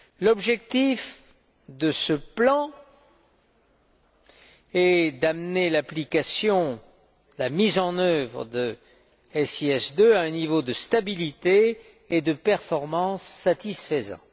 L'objectif de ce plan est d'amener l'application, la mise en œuvre de SIS II à un niveau de stabilité et de performance satisfaisant.